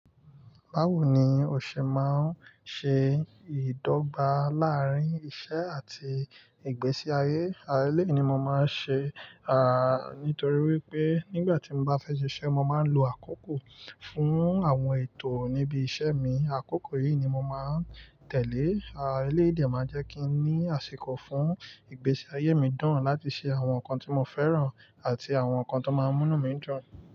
Bawo ni o ṣe máa ń ṣe ìdọ́gba láàárín iṣẹ́ àti ìgbésí ayé? Eléyìí ni mo máa ń ṣe, à nítorí wípé nígbà tí mo bá fẹ́ ṣe iṣẹ́, mo máa ń lo àkókò fún àwọn ètò níbi iṣẹ́ mi. Àkókò yìí ni mo máa ń tẹ̀lé. À eléyìí dè máa ń jẹ́ kí n ní àsìkò fún ìgbésí ayé mi dáran láti ṣe àwọn nǹkan tí mo fẹ́ràn àti àwọn nǹkan tó máa ń múnú mi dun.